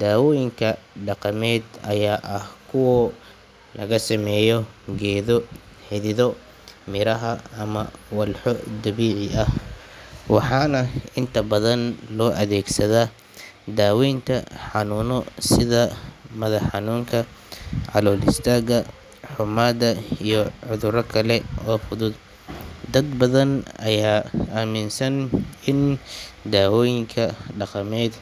Daawooyinka dhaqameed ayaa ah kuwa laga sameeyo geedo, xidido, miraha ama walxo dabiici ah, waxaana inta badan loo adeegsadaa daweynta xanuuno sida madax xanuunka, calool istaagga, xummada iyo cudurro kale oo fudud. Dad badan ayaa aaminsan in daawooyinka dhaqameed